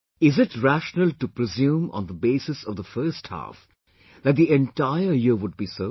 Is it rational to presume on the basis of the first half that the entire year would be so